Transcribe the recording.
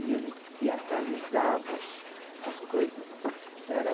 E ele teatralizava as coisas. Era